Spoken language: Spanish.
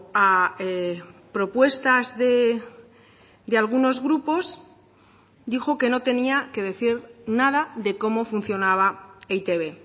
a propuestas de algunos grupos dijo que no tenía que decir nada de cómo funcionaba e i te be